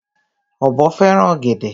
Ọ̀bọ fẹ́ràn ọ̀gẹ̀dè.